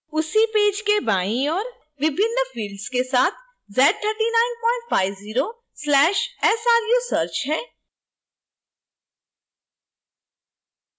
उसी पेज के बाईं ओर विभिन्न fields के साथ z3950/sru search है